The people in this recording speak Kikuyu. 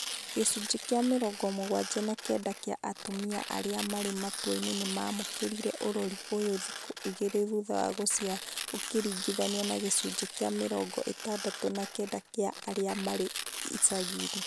Gĩcunjĩ kĩa mĩrongo mũgwanja na kenda kĩa atumia arĩa marĩ mataũni nĩmamũkĩrire ũrori ũyũ thikũ igĩrĩ thutha wa gũciara ũkĩringithania na gĩcunjĩ kĩa mĩrongo ĩtandatũ na kenda kĩa arĩa marĩ icagi inĩ